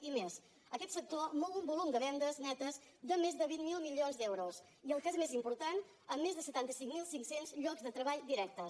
i més aquest sector mou un volum de vendes netes de més de vint miler milions d’euros i el que és més important amb més de setanta cinc mil cinc cents llocs de treball directes